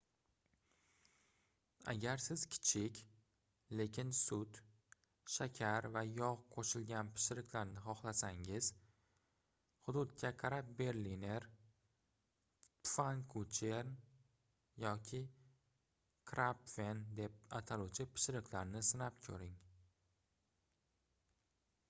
agar siz kichik lekin sut shakar va yogʻ qoʻshilagan pishiriqlarni xohlasangiz hududga qarab berliner pfannkuchen yoki krapfen deb ataluvchi pishiriqni sinab koʻring